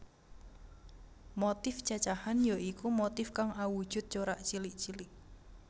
Motif cacahan ya iku motif kang awujud corak cilik cilik